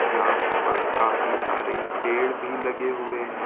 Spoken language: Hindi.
यहां पर काफी सारे पेड़ भी लगे हुए हैं।